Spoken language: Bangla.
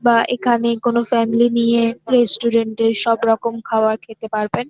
বা এখানে কোন ফ্যামিলি নিয়েএএএ রেস্টুরেন্ট -এ সব রকম খাওয়ার খেতে পারবেন।